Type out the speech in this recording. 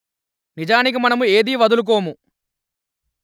నిజానికి మనము ఏది వదులుకోము